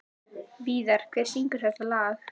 Víðar, hver syngur þetta lag?